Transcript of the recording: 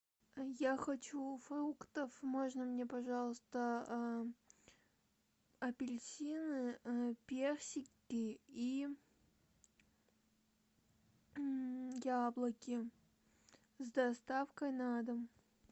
я хочу фруктов можно мне пожалуйста апельсины персики и яблоки с доставкой на дом